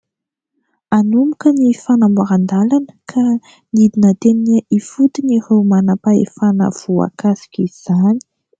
Hanomboka ny fanamboaran-dalana ka nidina teny ifotony ireo manam-pahefana voakasik'izany.